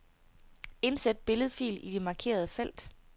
Indsæt billedfil i det markerede felt.